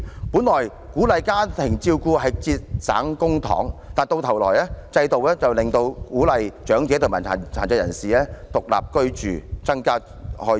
本來鼓勵家庭照顧可節省公帑，但制度卻反而鼓勵長者和殘疾人士獨立居住，增加公共開支。